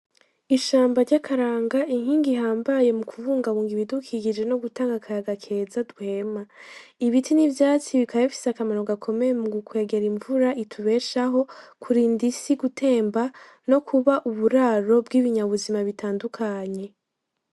Ishamba ry'akaranga inkingi ihambaye mu kubungabunga ibidukikije no gutanga akayaga keza duhema, ibiti n'ivyatsi bikaba bifise akamaro gakomeye mu gukwegera imvura itubeshaho, kurinda isi gutemba, no kuba uburaro bw'ibinyabuzima butandukanye.